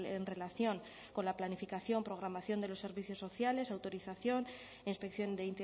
en relación con la planificación programación de los servicios sociales autorización e inspección de